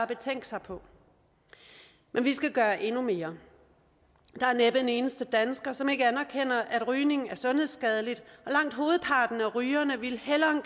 betænke sig på men vi skal gøre endnu mere der er næppe en eneste dansker som ikke anerkender at rygning er sundhedsskadeligt og langt hovedparten af rygerne ville hellere